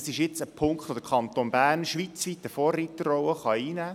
In diesem Punkt kann der Kanton Bern schweizweit eine Vorreiterrolle einnehmen.